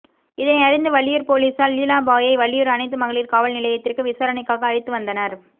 இதனை அறிந்த வள்ளியூர் போலீசார் லீலாபாயை வள்ளியூர் அனைத்து மகளிர் காவல் நிலையத்திற்கு விசாரணைக்காக அழைத்து வந்தனர்